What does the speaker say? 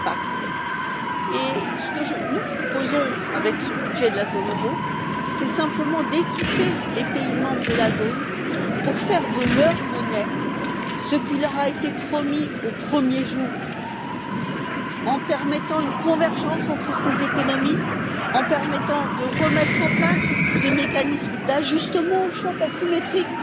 Ce que nous proposons avec ce budget de la zone euro, c'est simplement d'équiper les pays membres de la zone pour faire de leur monnaie ce qui leur a été promis au premier jour en permettant une convergence entre ces économies, en permettant de remettre en place des mécanismes d'ajustement aux chocs asymétriques.